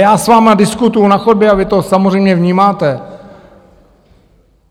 Já s vámi diskutuji na chodbě a vy to samozřejmě vnímáte.